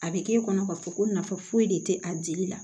A bɛ k'e kɔnɔ k'a fɔ ko nafa foyi de tɛ a jeli la